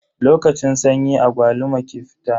Lokacin sanyi agwaluma ke fita.